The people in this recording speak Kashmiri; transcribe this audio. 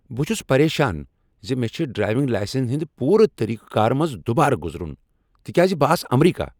بہٕ چُھس پریشان ز مےٚ چُھ ڈرائیونگ لائسنہِ ہٖندِ پوٗرٕ طریقہٕ کار مٕنزِ دوبارٕ گزرُن تکیاز بہٕ آس امریکہ ۔